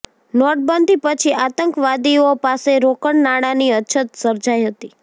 નોટબંધી પછી આતંકવાદીઓ પાસે રોકડ નાણાની અછત સર્જાઈ હતી